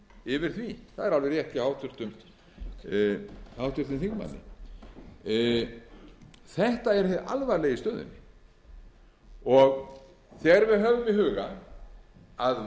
yfir því það er alveg rétt hjá háttvirtum þingmanni þetta er hið alvarlega í stöðunni þegar við höfum í huga að